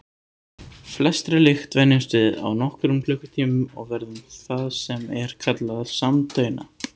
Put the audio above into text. Flestri lykt venjumst við á nokkrum klukkutímum og verðum það sem er kallað samdauna.